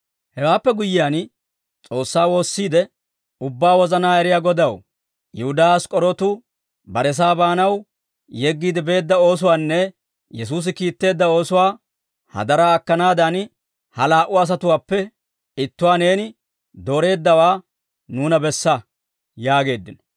Hewaappe guyyiyaan, S'oossaa woossiidde, «Ubbaa wozanaa eriyaa Godaw, Yihudaa Ask'k'orootu baresaa baanaw yeggiide beedda oosuwaanne Yesuusi kiitteedda oosuwaa hadaraa akkanaadan, ha laa"u asatuwaappe ittuwaa neeni dooreeddawaa nuuna bessa» yaageeddino.